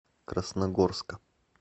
красногорска